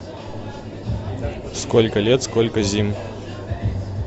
сколько лет сколько зим